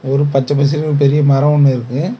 ஒரு பச்ச பசெல்னு ஒரு பெரிய மரோ ஒன்னு இருக்கு.